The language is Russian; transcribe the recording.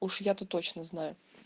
уж я то точно знаю